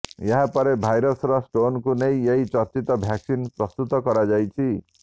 ଏହା ପରେ ଭାଇରସ୍ର ଷ୍ଟ୍ରେନକୁ ନେଇ ଏହି ଚର୍ଚ୍ଚିତ ଭ୍ୟାକସିନ୍ା ପ୍ରସ୍ତୁତ କରଯାଉଛି